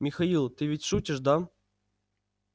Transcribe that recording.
михаил ты ведь шутишь да